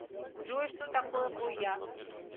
джой что такое гояс